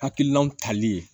Hakilinaw tali ye